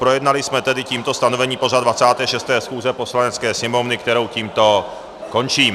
Projednali jsme tedy tímto stanovený pořad 26. schůze Poslanecké sněmovny, kterou tímto končím.